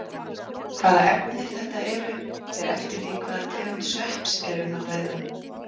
Hvaða efni þetta eru fer eftir því hvaða tegund svepps er um að ræða.